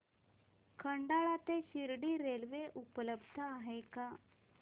खंडाळा ते शिर्डी रेल्वे उपलब्ध आहे का